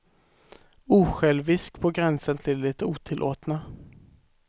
Osjälvisk på gränsen till det otillåtna.